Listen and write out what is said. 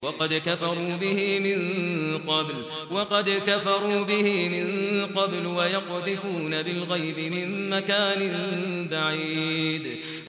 وَقَدْ كَفَرُوا بِهِ مِن قَبْلُ ۖ وَيَقْذِفُونَ بِالْغَيْبِ مِن مَّكَانٍ بَعِيدٍ